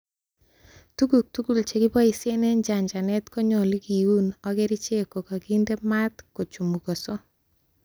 Tuguk tugul chekiboishen en chanchanet konyolu kiun ak kerichek ko kakinde maat kochumugoso.